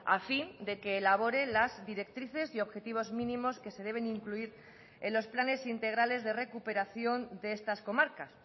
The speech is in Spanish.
a fin de que elabore las directrices y objetivos mínimos que se deben incluir en los planes integrales de recuperación de estas comarcas